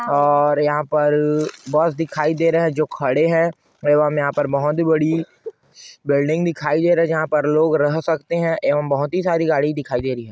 और यहाँ पर बस दिखाई दे रहे है जो खड़े है एवं यहाँ पर बहोत बड़ी बिल्डिंग दिखाई देरी है जहाँ पर लोग रह सकते है एवं बहोत ही सारी गाड़ी दिखाई दे रही है।